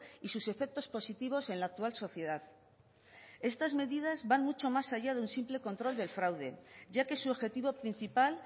y sus efectos positivos en la actual sociedad estas medidas van mucho más allá de un simple control del fraude ya que su objetivo principal